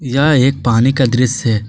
यह एक पानी का दृश्य।